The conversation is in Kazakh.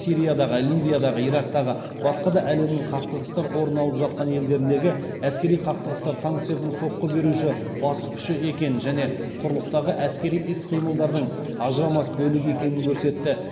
сириядағы ливиядағы ирактағы басқада әлемнің қақтығыстар орын алып жатқан елдеріндегі әскери қақтығыстар танктердің соққы беруші басты күші екенін және құрлықтағы әскери іс қимылдардың ажырамас бөлігі екенін көрсетті